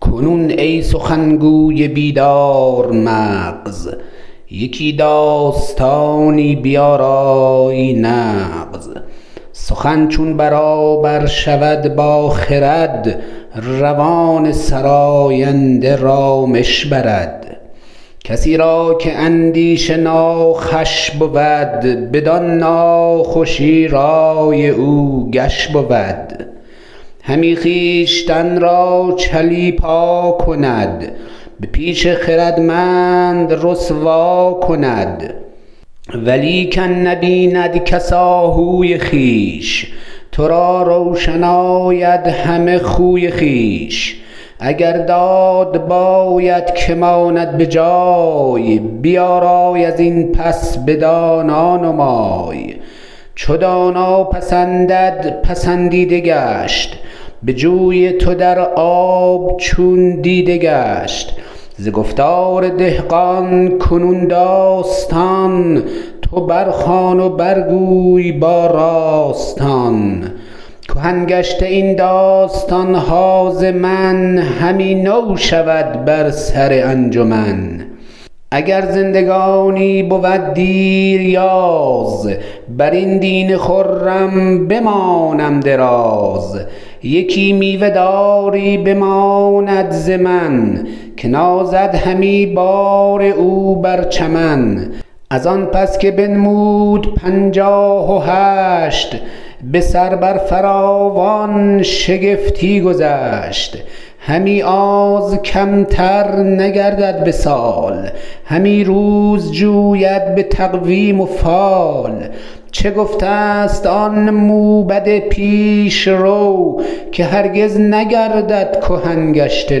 کنون ای سخن گوی بیدارمغز یکی داستانی بیارای نغز سخن چون برابر شود با خرد روان سراینده رامش برد کسی را که اندیشه ناخوش بود بدان ناخوشی رای او گش بود همی خویشتن را چلیپا کند به پیش خردمند رسوا کند ولیکن نبیند کس آهوی خویش ترا روشن آید همه خوی خویش اگر داد باید که ماند بجای بیارای ازین پس بدانا نمای چو دانا پسندد پسندیده گشت به جوی تو در آب چون دیده گشت ز گفتار دهقان کنون داستان تو برخوان و برگوی با راستان کهن گشته این داستانها ز من همی نو شود بر سر انجمن اگر زندگانی بود دیریاز برین دین خرم بمانم دراز یکی میوه داری بماند ز من که بارد همی بار او بر چمن ازان پس که بنمود پنچاه و هشت بسر بر فراوان شگفتی گذشت همی آز کمتر نگردد بسال همی روز جوید بتقویم و فال چه گفته ست آن موبد پیش رو که هرگز نگردد کهن گشته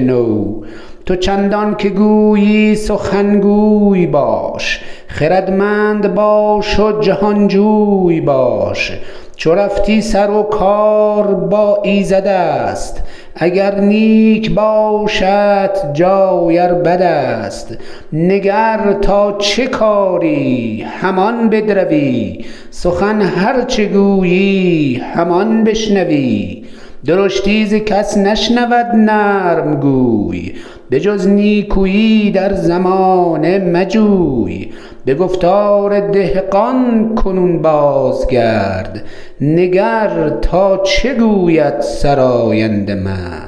نو تو چندان که گویی سخن گوی باش خردمند باش و جهانجوی باش چو رفتی سر و کار با ایزدست اگر نیک باشدت جای ار بدست نگر تا چه کاری همان بدروی سخن هرچه گویی همان بشنوی درشتی ز کس نشنود نرم گوی به جز نیکوی در زمانه مجوی به گفتار دهقان کنون بازگرد نگر تا چه گوید سراینده مرد